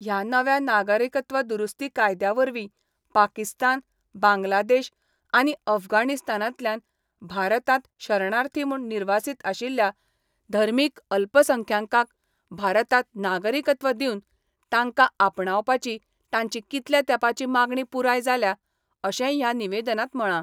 ह्या नव्या नागरिकत्व दुरुस्ती कायद्यावरवी पाकिस्तान, बांगलादेश आनी अफगाणिस्तानातल्यान भारतात शरणार्थी म्हुण निर्वासित आशिल्ल्या धर्मिक अल्पसंख्यांकांक भारतात नागरिकत्व दिवन तांका आपणावपाची तांची कितल्या तेपाची मागणी पुराय जाल्या, अशेय ह्या निवेदनात म्हळा.